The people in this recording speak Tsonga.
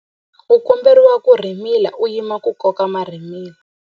U komberiwa ku rhimila u yima ku koka marhimila.